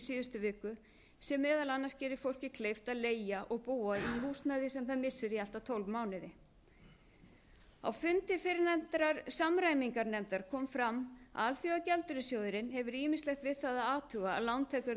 síðustu viku sem meðal annars gerir fólki kleift að leigja og búa í húsnæði sem það missir í allt að tólf mánuði á fundi fyrrnefndrar samræmingarnefndar kom fram að alþjóðagjaldeyrissjóðurinn hefur ýmislegt við það að athuga að